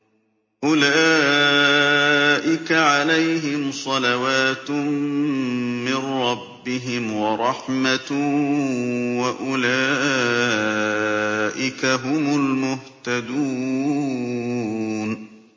أُولَٰئِكَ عَلَيْهِمْ صَلَوَاتٌ مِّن رَّبِّهِمْ وَرَحْمَةٌ ۖ وَأُولَٰئِكَ هُمُ الْمُهْتَدُونَ